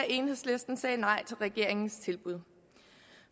enhedslisten sagde nej til regeringens tilbud